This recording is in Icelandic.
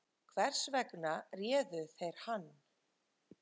Hvers vegna réðu þeir hann